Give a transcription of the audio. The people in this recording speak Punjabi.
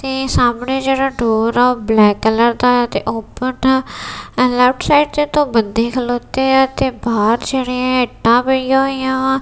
ਤੇ ਸਾਹਮਣੇ ਜਿਹੜਾ ਡੋਰ ਆ ਉਹ ਬਲੈਕ ਕਲਰ ਦਾ ਆ ਤੇ ਓਪਨ ਆ ਲੈਫਟ ਸਾਈਡ ਤੇ ਦੋ ਬੰਦੇ ਖਲੋਤੇ ਆ ਤੇ ਬਾਹਰ ਜਿਹੜੀਆਂ ਇੱਟਾਂ ਪਈਆਂ ਹੋਈਆਂ ਵਾ।